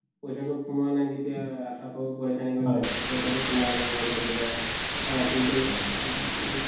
পইছাটো সোমোৱা নাই বা কিবা কিন্তু